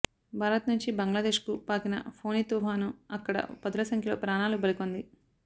భారత్ నుంచి బంగ్లాదేశ్ కు పాకిన ఫొని తుపాను అక్కడ పదుల సంఖ్యలో ప్రాణాలు బలికొంది